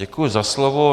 Děkuji za slovo.